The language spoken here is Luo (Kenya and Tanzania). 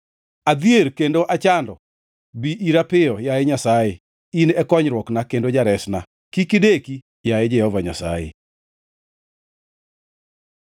Adhier kendo achando; bi ira piyo, yaye Nyasaye. In e konyruokna kendo jaresna; kik ideki, yaye Jehova Nyasaye.